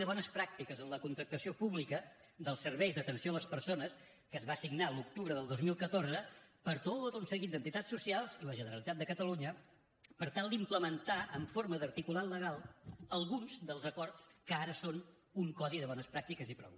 de bones pràctiques en la contractació pública dels serveis d’atenció a les persones que es va signar l’octubre del dos mil catorze per tot un seguit d’entitats socials i la generalitat de catalunya per tal d’implementar en forma d’articulat legal alguns dels acords que ara són un codi de bones pràctiques i prou